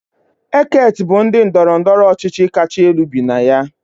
Eket bụ ndị ndọrọ ndọrọ ọchịchị kacha elu bi na ya